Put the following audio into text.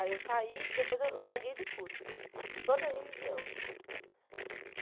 Aí eu saí e depois eu larguei de tudo, de toda religião, assim.